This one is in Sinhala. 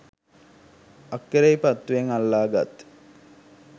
අක්කෙරේපත්තුවෙන් අල්ලා ගත්